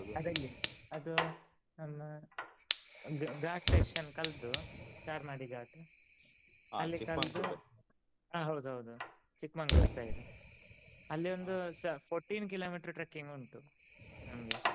ಅದಲ್ಲಿ ಅದು ನಮ್ಮ ಗ~ ghat section ಕಳ್ದು Charmady ghat ಹಾ ಹೌದ್ ಹೌದ್ Chikmagalur side ಅಲ್ಲೆ ಒಂದು ಸ fourteen kilometer trekking ಉಂಟು ನಮ್ಗೆ.